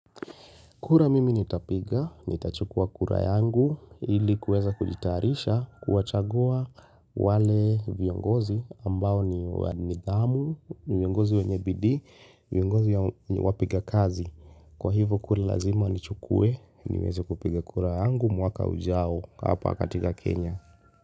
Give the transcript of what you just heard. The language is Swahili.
Kura mimi nitapiga, nitachukua kura yangu ili kuweza kujitayarisha kuwachagua wale viongozi ambao ni wadhamu, viongozi wenyebidii viongozi wapiga kazi. Kwa hivyo kura lazima nichukue, niweza kupiga kura yangu mwaka ujao hapa katika Kenya.